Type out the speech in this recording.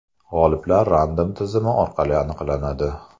G‘oliblar Random tizimi orqali aniqlanadi.